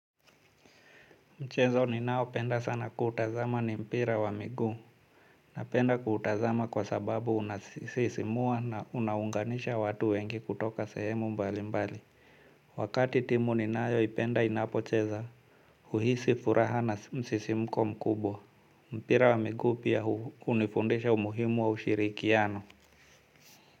Mchezo ninao penda sana kuutazama ni mpira wa migu na penda kuutazama kwa sababu unasisimua na unaunganisha watu wengi kutoka sehemu mbali mbali. Wakati timu ninaoipenda inapocheza uhisi furaha na msisimko mkubwa mpira wa migu pia unifundesha umuhimu wa ushirikiano.